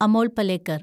Amol Palekar